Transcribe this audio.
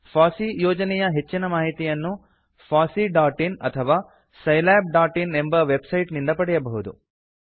FOSSEE ಯೋಜನೆಯ ಹೆಚ್ಚಿನ ಮಾಹಿತಿಯನ್ನು fosseeಇನ್ ಅಥವಾ scilabಇನ್ ಎಂಬ ವೆಬ್ಸೈಟ್ ಇಂದ ಪಡೆಯಬಹುದು